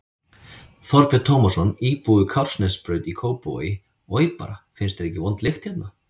Þorbjörn Tómasson, íbúi við Kársnesbraut í Kópavogi: Oj bara, finnst þér ekki vond lykt hérna?